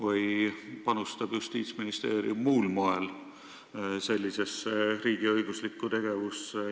Või panustab Justiitsministeerium mingil muul moel riigiõiguslikku tegevusse?